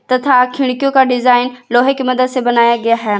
तथा खिड़कियों का डिजाइन लोहे की मदद से बनाया गया है।